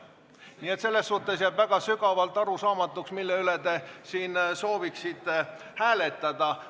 Nii et selles suhtes jääb sügavalt arusaamatuks, mille üle te sooviksite siin hääletada.